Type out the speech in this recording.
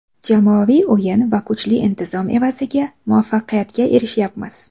Jamoaviy o‘yin va kuchli intizom evaziga muvaffaqiyatga erishyapmiz.